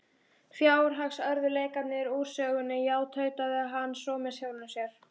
Fjárhagsörðugleikarnir úr sögunni, já- tautaði hann svo með sjálfum sér.